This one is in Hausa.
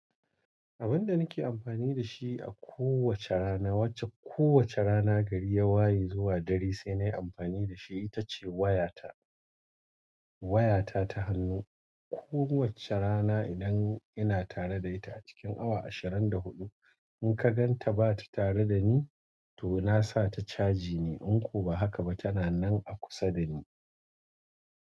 Abun da nike amfani da shi a ko wacce rana, wacce kowacce rana gari ya waye zuwa dare, senai amfani da shi. Ita ce wayata. Wayata ta hannu. Ko wacce rana idan ina tare da ita a cikin awa ashirin da hudu, in ka gan ta ba ta tara da ni, to na sa ta caji ne. In ko ba haka ba, tana nan a kusa da ni.